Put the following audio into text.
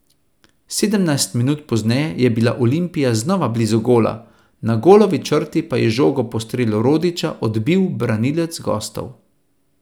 Sedemnajst minut pozneje je bila Olimpija znova blizu gola, na golovi črti pa je žogo po strelu Rodića odbil branilec gostov.